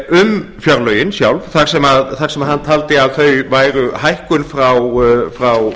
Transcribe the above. um fjárlögin sjálf þar sem hann taldi að þau væru hækkun frá